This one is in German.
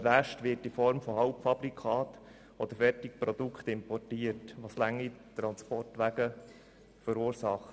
der Rest wird in Form von Halbfabrikaten oder Fertigprodukten importiert, was lange Transportwege verursacht.